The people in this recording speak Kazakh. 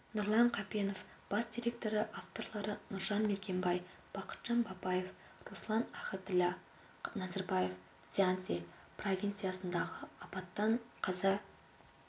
нұрлан қапенов бас директоры авторлары нұржан мергенбай бақытжан бапаев руслан ахатіллә назарбаев цзянси провинциясындағы апаттан қаза